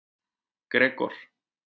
Gregor